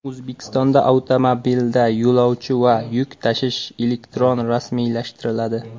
O‘zbekistonda avtomobilda yo‘lovchi va yuk tashish elektron rasmiylashtiriladi.